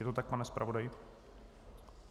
Je to tak, pane zpravodaji?